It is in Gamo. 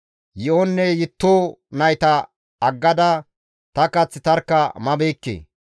Yi7onne yitto nayta aggada ta kath tarkka mabeekke.